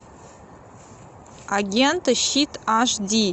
агенты щит аш ди